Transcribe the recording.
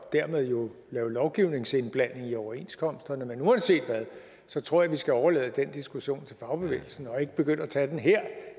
og dermed jo lave lovgivningsindblanding i overenskomsterne men uanset hvad tror jeg vi skal overlade den diskussion til fagbevægelsen og ikke begynde at tage den her